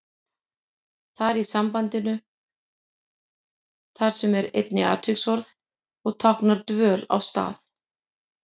Þar í sambandinu þar sem er einnig atviksorð og táknar dvöl á stað.